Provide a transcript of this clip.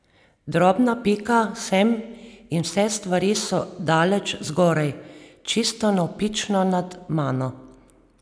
Drobna pika sem in vse stvari so daleč zgoraj, čisto navpično nad mano.